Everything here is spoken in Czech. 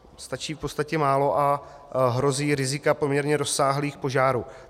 Stačí v podstatě málo a hrozí rizika poměrně rozsáhlých požárů.